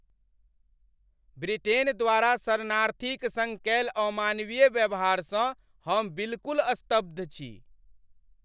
Britain द्वारा शरणार्थीक सङ्ग कयल अमानवीय व्यवहारसँ हम बिलकुल स्तब्ध छी।